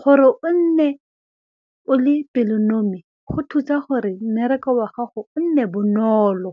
gore o nne o le pelonomi go thusa gore mmereko wa gago o nne bonolo.